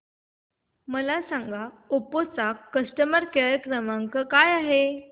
मला सांगा ओप्पो चा कस्टमर केअर क्रमांक काय आहे